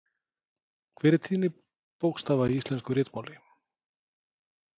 Hver er tíðni bókstafa í íslensku ritmáli?